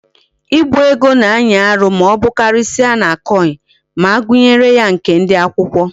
Ibu ego na anyi Aru ma obukarisia na coin, ma agunyere ya nke ndi akwukwo